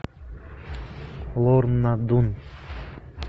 лорна дун